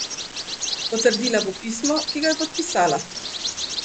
Potrdila bo pismo, ki ga je podpisala!